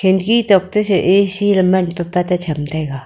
kherki duppu che ac lana la cham taga.